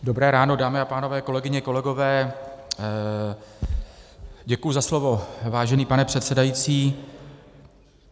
Dobré ráno, dámy a pánové, kolegyně, kolegové, děkuji za slovo, vážený pane předsedající.